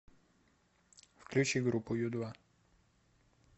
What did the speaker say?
включи группу ю два